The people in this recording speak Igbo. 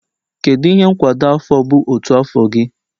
Kedu ihe nkwado afọ bụ otu afọ gị?